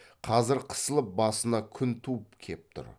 қазір қысылып басына күн туып кеп тұр